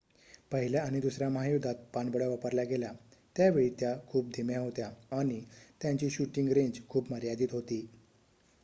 पहिल्या आणि दुसर्‍या महायुद्धात पाणबुड्या वापरल्या गेल्या त्यावेळी त्या खूप धीम्या होत्या आणि त्यांची शूटिंग रेंज खूप मर्यादित होती